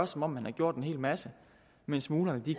som om man har gjort en hel masse mens smuglerne